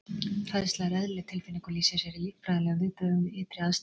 Hræðsla er eðlileg tilfinning og lýsir sér í líffræðilegum viðbrögðum við ytri aðstæðum.